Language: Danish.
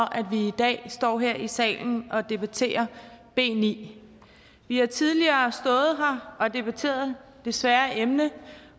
vi i dag står her i salen og debatterer b niende vi har tidligere stået her og debatteret det svære emne